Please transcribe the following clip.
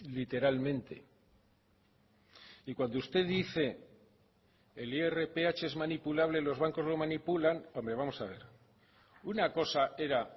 literalmente y cuando usted dice el irph es manipulable los bancos lo manipulan hombre vamos a ver una cosa era